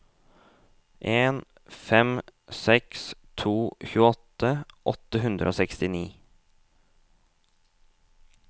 en fem seks to tjueåtte åtte hundre og sekstini